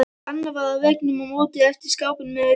Annað far á veggnum á móti eftir skápinn með græjunum.